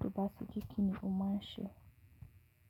To ba ti ji kini o maa n ṣe.